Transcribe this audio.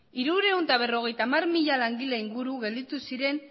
hirurehun eta berrogeita hamar mila langile ingurua gelditu ziren